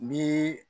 Ni